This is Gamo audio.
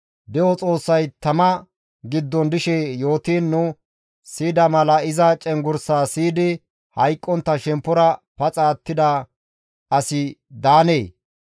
De7o Xoossay tama giddon dishe yootiin nu siyida mala iza cenggurssa siyidi hayqqontta shemppora paxa attida asi daanee?